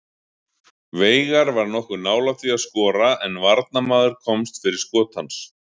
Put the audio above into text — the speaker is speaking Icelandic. Veigar var nokkuð nálægt því að skora en varnarmaður komst fyrir skot hans.